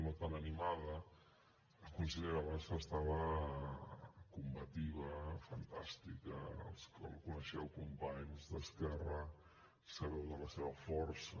no tan animada la consellera bassa estava combativa fantàstica els que la coneixeu companys d’esquerra sabeu de la seva força